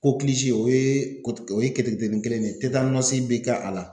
o ye o ye keteketeni kelen ye bɛ kɛ a la.